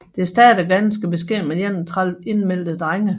Det startede ganske beskedent med 31 indmeldte drenge